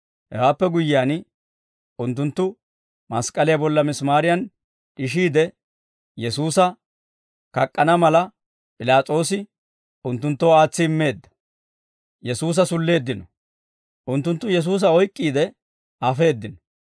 Hewaappe guyyiyaan, unttunttu mask'k'aliyaa bolla misimaariyan d'ishiide, Yesuusa kak'k'ana mala, P'ilaas'oosi unttunttoo aatsi immeedda. Yesuusa Sulleeddino ( Mat. 27:32-44 ; Mar. 15:21-32 ; Luk'. 23:26-43 ) Unttunttu Yesuusa oyk'k'iide, afeeddino.